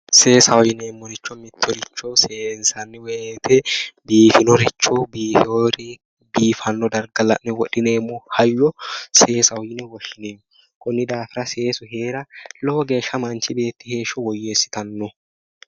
Seesaho yineemmo woyte mittoricho seensanni woyte biifinoricho biifeyorii biifanno darga la'ne wodhineemmo hayyo seesaho yine woshshineemmo konni daafira seesu heera lowo geeshsha manchi beetti heeshsho woyyeessitanno